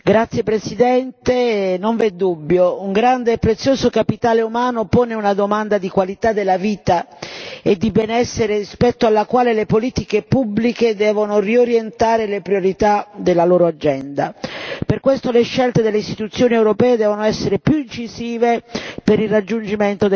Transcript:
Signor Presidente, onorevoli colleghi, non v'è dubbio, un grande e prezioso capitale umano pone una domanda di qualità della vita e di benessere rispetto alla quale le politiche pubbliche devono riorientare le priorità della loro agenda. Per questo, le scelte delle istituzioni europee devono essere più incisive per il raggiungimento degli obiettivi.